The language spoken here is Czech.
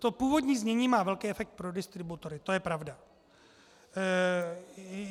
To původní znění má velký efekt pro distributory, to je pravda.